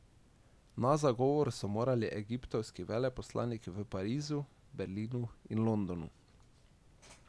Na zagovor so morali egiptovski veleposlaniki v Parizu, Berlinu in Londonu.